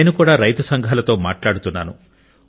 నేను రైతు సంఘాలతో కూడా మాట్లాడుతున్నాను